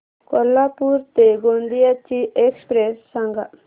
कोल्हापूर ते गोंदिया ची एक्स्प्रेस सांगा